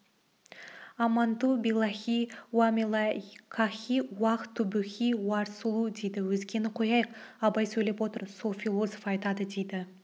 аманту биллахи уамелаикахи уак тубихи уарсулу дейді өзгені қояйық абай сөйлеп отыр сол философ айтады дейді